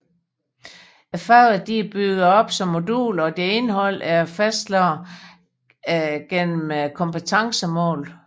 Fagene er opbygget som moduler og deres indhold er fastlagt gennem kompetencemål